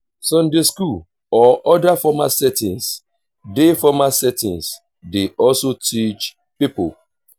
sunday school or oda formal settings dey formal settings dey also teach pipo